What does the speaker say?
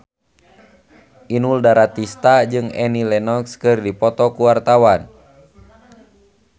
Inul Daratista jeung Annie Lenox keur dipoto ku wartawan